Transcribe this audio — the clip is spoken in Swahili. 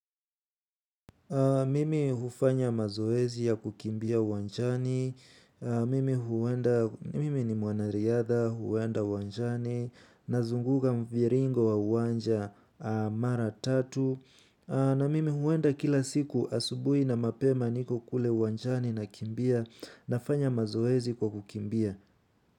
Mimi hufanya mazoezi ya kukimbia uwanjani, mimi hu mimi ni mwanariadha, huenda uwanjani, nazunguka mviringo wa uwanja mara tatu, na mimi huenda kila siku asubui na mapema niko kule uwanjani nakimbia, nafanya mazoezi kwa kukimbia.